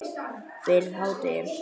Fyrir hádegi.